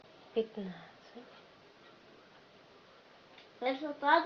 пятнадцать